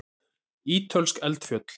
Ítölsk eldfjöll.